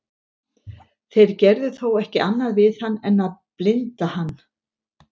þeir gerðu þó ekki annað við hann en að blinda hann